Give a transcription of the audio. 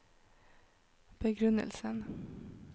begrunnelsen